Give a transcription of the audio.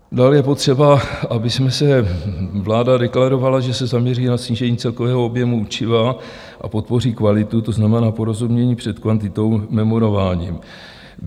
Dál je potřeba, abychom se - vláda deklarovala, že se zaměří na snížení celkového objemu učiva a podpoří kvalitu, to znamená porozumění před kvantitou, memorováním.